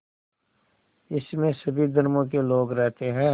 इसमें सभी धर्मों के लोग रहते हैं